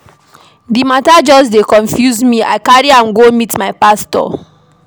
Di mata just dey confuse me I carry am go meet my pastor.